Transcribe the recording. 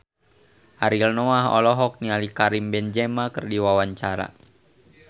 Ariel Noah olohok ningali Karim Benzema keur diwawancara